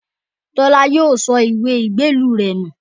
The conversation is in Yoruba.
Tọ́lá yóò sọ ìwé ìgbélú rẹ̀ nù